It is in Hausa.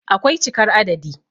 akwai cikar adadi